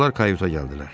Onlar kayuta gəldilər.